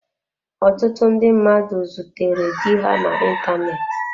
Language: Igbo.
Ọtụtụ ndị mmadụ zutere di ha na ịntanetị.